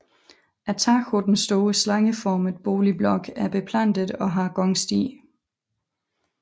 Taget på den store slangeformede boligblok er beplantet og har gangsti